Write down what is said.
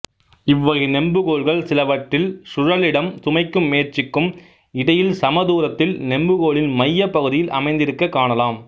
இவ்வகை நெம்புகோல்கள் சிலவற்றில் சுழலிடம் சுமைக்கும் முயற்சிக்கும் இடையில் சமதூரத்தில் நெம்புகோலின் மையப் பகுதியில் அமைந்திருக்கக் காணலாம்